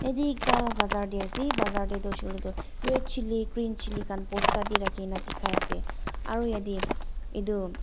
yate ekta bazzar te ase bazzar te toh hoishe koile toh red chilli green chilli bosta te rakhi kena bikai ase aro yate itu--